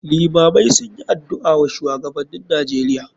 Iimamai sunyi adu'a wa shuwagabannin nijeria.